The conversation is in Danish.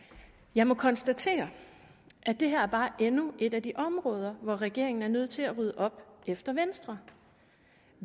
jeg må konstatere at det her bare er endnu et af de områder hvor regeringen er nødt til at rydde op efter venstre